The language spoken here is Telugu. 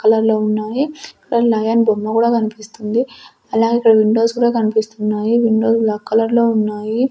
కలర్ లో ఉన్నాయి ఇక్కడ లయన్ బొమ్మ కూడా కనిపిస్తుంది. అలాగే ఇక్కడ విండోస్ కూడా కనిపిస్తున్నాయి విండోస్ బ్లాక్ కలర్ లో ఉన్నాయి.